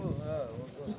Hə, ordadı.